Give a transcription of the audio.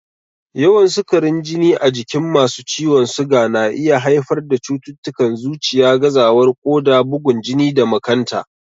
Yawan sukarin jini a jikin masu ciwon suga na iya haifar da cututtukan zuciya, gazawar koda, bugun jini da makanta.